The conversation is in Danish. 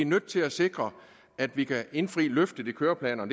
nødt til at sikre at vi kan indfri løfterne i køreplanerne